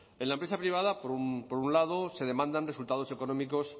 en la empresa privada por un lado se demandan resultados económicos